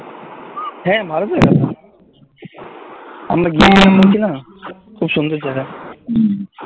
হ্যাঁ ভালো তো জায়গা আমরা গিয়েছিলাম বলছি না খুব সুন্দর জায়গা